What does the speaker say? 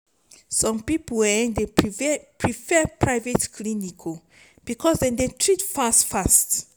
some pipo um dey prefer prefer private clinic bicos dem dey treat dem fast.